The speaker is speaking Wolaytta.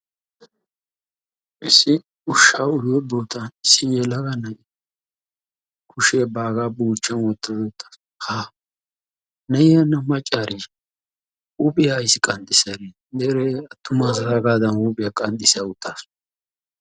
Issi ushshaa uyiyo bootan issi yelaga na'iya kushshiyan baaga buuchchan wottada haa! na'iya hana maccaariisha huphphiya ayssi qanxxissay? Deree attuma asaagaadan huuphphiya qanxxissa uttaasu.